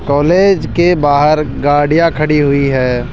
College के बाहर गाड़ियां खड़ी हुई है।